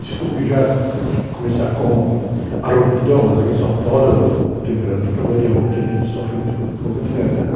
Desculpe já começar com a rouquidão, mas aqui em São Paulo a temperatura varia muito e a gente sofre muito com problema de garganta.